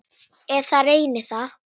Eða reyna það.